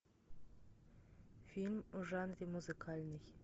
фильм в жанре музыкальный